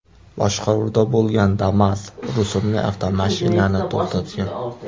boshqaruvida bo‘lgan Damas rusumli avtomashinani to‘xtatgan.